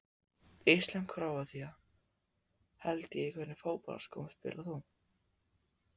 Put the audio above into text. Ísland-Króatía held ég Í hvernig fótboltaskóm spilar þú?